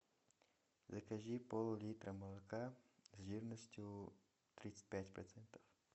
закажи пол литра молока жирностью тридцать пять процентов